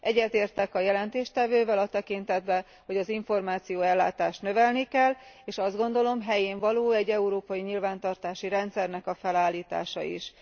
Egyetértek a jelentéstevővel a tekintetben, hogy az információellátást növelni kell, és azt gondolom, helyénvaló egy európai nyilvántartási rendszernek a felállítása is.